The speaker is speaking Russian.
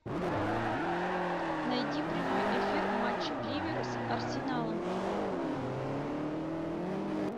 найди прямой эфир матча ливера с арсеналом